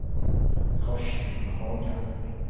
Karsten Hagen